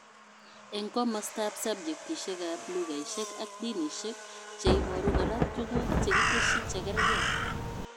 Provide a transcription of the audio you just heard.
Eng komostaab subjetishekab lughaishek ak dinishek, cheiboru kora tuguk chekitesyi chekerke